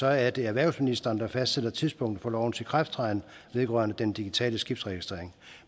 er det erhvervsministeren der fastsætter tidspunktet for lovens ikrafttræden vedrørende den digitale skibsregistrering